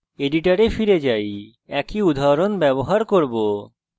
editor ফিরে যাই আমি একই উদাহরণ ব্যবহার করব